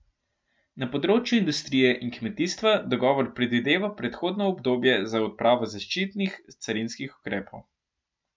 Na področju industrije in kmetijstva dogovor predvideva prehodno obdobje za odpravo zaščitnih carinskih ukrepov.